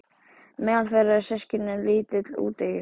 Meðal þeirra eru systkini- lítill, úteygur